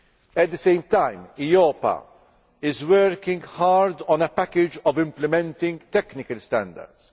year. At the same time, EIOPA is working hard on a package of implementing technical standards.